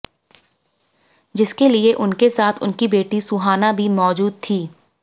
जिसके लिए उनके साथ उनकी बेटी सुहाना भी मौजूद थी